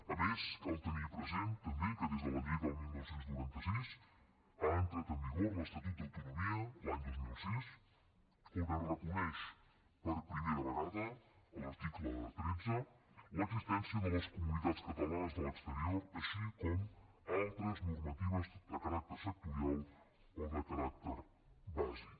a més cal tenir present també que des de la llei del dinou noranta sis ha entrat en vigor l’estatut d’autonomia l’any dos mil sis on es reconeix per primera vegada a l’article tretze l’existència de les comunitats catalanes a l’exterior així com altres normatives de caràcter sectorial o de caràcter bàsic